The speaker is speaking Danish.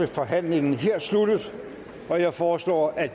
forhandlingen er sluttet jeg foreslår at